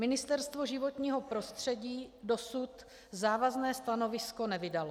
Ministerstvo životního prostředí dosud závazné stanovisko nevydalo.